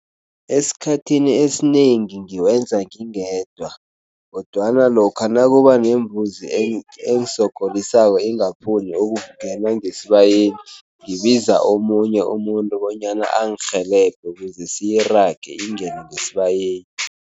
Esikhathini esinengi ngiwenza ngingedwa kodwana lokha nakuba nembuzi engisogolisako ingafuni ukungena ngesibayeni, ngibiza omunye umuntu bonyana angirhelebhe ukuze siyirage ingene ngesibayeni.